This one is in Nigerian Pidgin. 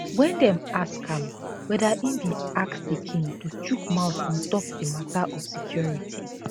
wen dem ask am weda e bin ask di king to chook mouth on top di mata of security